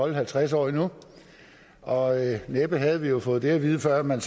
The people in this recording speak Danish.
i halvtreds år endnu og næppe havde vi fået det at vide før man